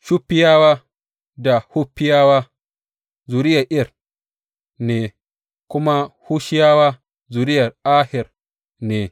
Shuffiyawa da Huffiyawa zuriyar Ir ne, kuma Hushiyawa zuriyar Aher ne.